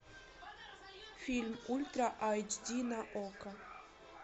фильм ультра эйч ди на окко